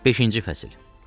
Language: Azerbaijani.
Beşinci fəsil.